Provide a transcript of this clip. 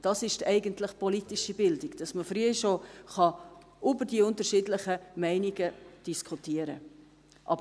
Das ist eigentlich politische Bildung: dass man schon früh über die unterschiedlichen Meinungen diskutieren kann.